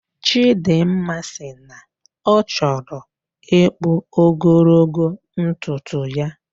Chidimma sị na ọchọrọ ikpu ogologo ntuntu ya